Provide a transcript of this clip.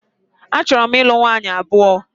A chọrọ m ị lụ nwunye abụọ.